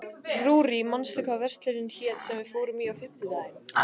Rúrí, manstu hvað verslunin hét sem við fórum í á fimmtudaginn?